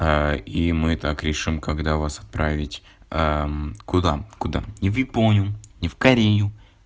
и мы так решим когда вас отправить куда куда не в японию не в корею